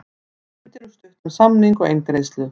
Hugmyndir um stuttan samning og eingreiðslu